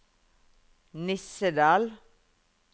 Nissedal